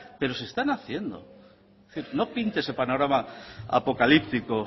pero se están haciendo es decir no pinte ese panorama apocalíptico